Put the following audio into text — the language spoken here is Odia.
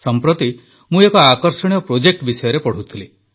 ସମ୍ପ୍ରତି ମୁଁ ଏକ ଆକର୍ଷଣୀୟ ପ୍ରୋଜେକ୍ଟ ବିଷୟରେ ପଢ଼ୁଥିଲି